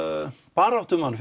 baráttumann